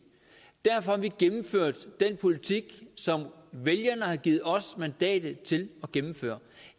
derfor har vi gennemført den politik som vælgerne har givet os mandatet til at gennemføre